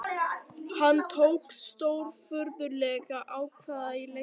Hann tók stórfurðulegar ákvarðanir í leiknum